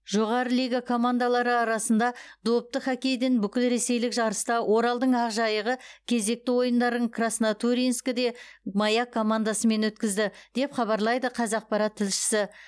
жоғары лига командалары арасында допты хоккейден бүкілресейлік жарыста оралдың ақжайығы кезекті ойындарын краснотурьинскіде маяк командасымен өткізді деп хабарлайды қазақпарат тілшісі